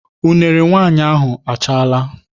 Unere nwaanyị ahụ achaala.